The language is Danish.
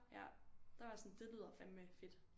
Ja der var jeg sådan det lyder fandeme fedt